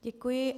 Děkuji.